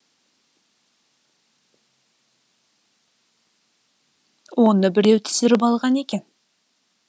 оны біреу түсіріп алған екен